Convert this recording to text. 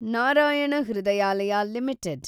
Narayana Hrudayalaya limited